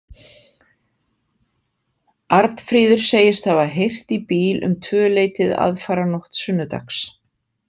Arnfríður segist hafa heyrt í bíl um tvöleytið aðfararnótt sunnudags.